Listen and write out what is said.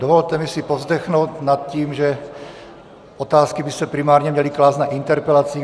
Dovolte mi si povzdechnout nad tím, že otázky by se primárně měly klást na interpelacích.